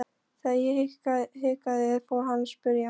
Þegar ég hikaði fór hann að spyrja.